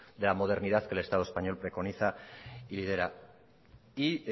de la modernidad que el estado español preconiza y lidera y